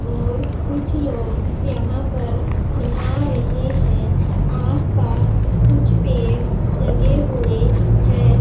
और कुछ लोग यहां पर नहा रहे हैं आसपास कुछ पेड़ लगे हुए हैं।